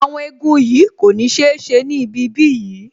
Awon igun yìí kò ní sise ni ibi bí yìí